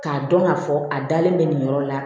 K'a dɔn k'a fɔ a dalen bɛ nin yɔrɔ la